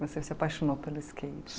Você se apaixonou pelo skate?